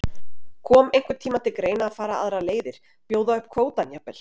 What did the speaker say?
Kom einhvern tímann til greina að fara aðrar leiðir, bjóða upp kvótann jafnvel?